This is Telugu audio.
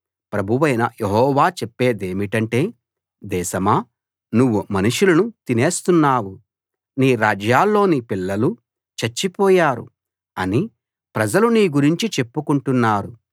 ప్రభువైన యెహోవా చెప్పేదేమిటంటే దేశమా నువ్వు మనుషులను తినేస్తున్నావు నీ రాజ్యాల్లోని పిల్లలు చచ్చిపోయారు అని ప్రజలు నీ గురించి చెప్పుకుంటున్నారు